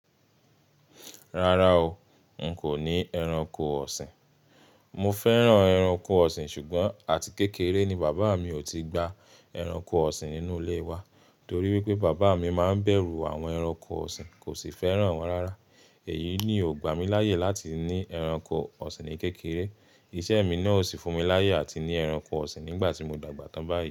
Rárá o, n kò ní ẹranko ọ̀sìn. Mo fẹ́ràn ẹranko ọ̀sìn ṣùgbọ́n àti kékeré ni bàbá mi ò ti gba ẹranko ọ̀sìn nínú ilé wa torí wípé bàbá mi máa ń bẹ̀rù àwọn ẹranko ọ̀sìn, kò sì fẹ́ràn wọ́n rárá. Èyí ni ò gbà mí láyè láti ní ẹranko ọ̀sìn ní kékeré. Iṣẹ́ mi náà ò sì fún mi láyè àti ní ẹranko ọ̀sìn nígbà tí mo dàgbà tán báyìí.